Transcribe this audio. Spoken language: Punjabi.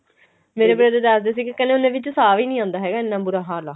ਮੇਰੇ brother ਦੱਸਦੇ ਸੀਗੇ ਕੀ ਉਨ੍ਹਾਂ ਵਿੱਚ ਸਾਂਹ ਵੀ ਨਹੀਂ ਆਉਂਦਾ ਇੰਨਾ ਬੁਰਾ ਹਾਲ ਆ